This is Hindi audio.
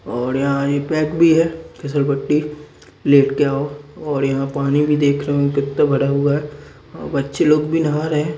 और यहाँ ये पैक भी है फिसलपट्टी लेट के आओ और यहाँ पानी भी देख रहे होंगे कितने भरे हुए है अ बच्चे लोग भी नहा रहे है।